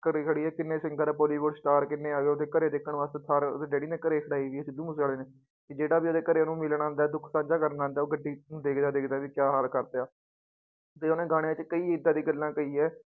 ਘਰੇ ਖੜੀ ਹੈ ਕਿੰਨੇ singer ਬੋਲੀਵੁਡ star ਕਿੰਨੇ ਆ ਗਏ ਉਹਦੇ ਘਰੇ ਦੇਖਣ ਵਾਸਤੇ ਸਾਰੇ ਉਹਦੇ daddy ਨੇ ਘਰੇ ਖੜਾਈ ਹੈ ਸਿੱਧੂ ਮੂਸੇਵਾਲੇ ਨੇ, ਕਿ ਜਿਹੜਾ ਵੀ ਉਹਦੇੇ ਘਰੇ ਉਹਨੂੰ ਮਿਲਣ ਆਉਂਦਾ ਹੈ ਦੁੱਖ ਸਾਂਝਾ ਕਰਨ ਆਉਂਦਾ ਹੈ, ਉਹ ਗੱਡੀ ਨੂੰ ਦੇਖਦਾ ਦੇਖਦਾ ਵੀ ਕਿਆ ਹਾਲ ਕਰ ਦਿੱਤਾ ਤੇ ਉਹਨੇ ਗਾਣਿਆਂ ਚ ਕਈ ਏਦਾਂ ਦੀ ਗੱਲਾਂ ਕਹੀ ਹੈ